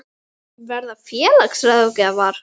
Verða félagsráðgjafar?